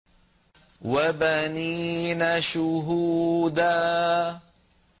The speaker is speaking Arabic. وَبَنِينَ شُهُودًا